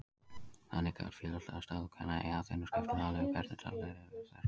Þannig gat félagsleg staða kvenna í Aþenu skipt máli um hvernig daglegt líf þeirra var.